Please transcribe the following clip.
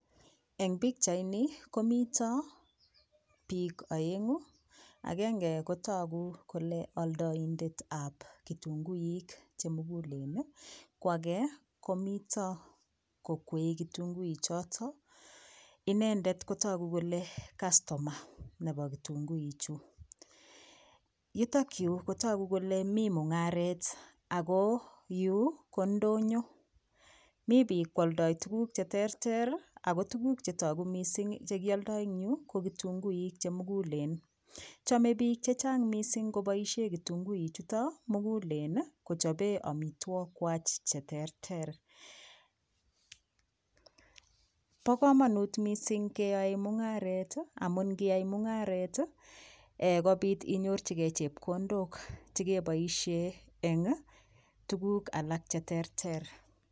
Eng pikchaini komito piik oengu agenge kotoku kole oldoinset ab kitunguik chemugulen koake komito kokweei kitunguichoto inendet kotoku kole kastoma nebo kitungui chu yutokyu kotoku kole mi mungaret Ako yu ko ndonyo mi piik koaldoi tukuk cheterter ako tukuk chetoku mising chekioldoi eng yu ko kitunguik chemugulen chomei piik chechang mising koboishe kitunguichoto mugulen kochopee omitwok kwach cheterter bo komonut mising keyoei mungaret amun koyai mungaret kopiit inyorchigei chepkondok chekeboishee eng tukuk alak cheterter.